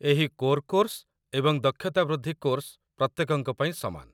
ଏହି core course ଏବଂ ଦକ୍ଷତା ବୃଦ୍ଧି କୋର୍ସ ପ୍ରତ୍ୟେକଙ୍କ ପାଇଁ ସମାନ